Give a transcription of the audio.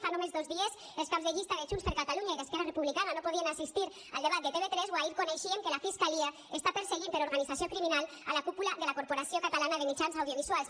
fa només dos dies els caps de llista de junts per catalunya i d’esquerra republicana no podien assistir al debat de tv3 o ahir coneixíem que la fiscalia està perseguint per organització criminal a la cúpula de la corporació catalana de mitjans audiovisuals